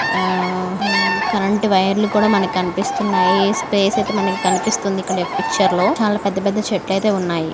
ఆ ఆ ఉమ్ కరెంట్ వైర్ కూడా మనకు కనిపిస్తున్నాయి. స్పేస్ అయితే మనకి కనిపిస్తుంది. ఇక్కడ పిక్చర్ లో చాలా పెద్ద పెద్ద చెట్లు అయితే ఉన్నాయి.